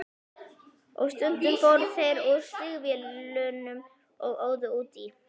Og stundum fóru þeir úr stígvélunum og óðu út í.